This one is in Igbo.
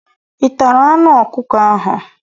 ị tara anụ ọkụkọ ahụ?